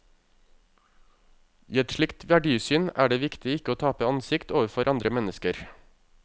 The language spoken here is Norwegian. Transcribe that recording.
I et slikt verdisyn er det viktig ikke å tape ansikt overfor andre mennesker.